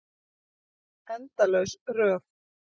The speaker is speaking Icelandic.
Endalaus röð.